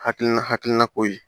Hakilina hakilina ko ye